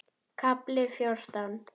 KAFLI FJÓRTÁN